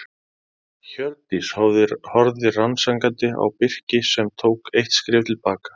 Hjördís horfði rannsakandi á Birki sem tók eitt skref til baka.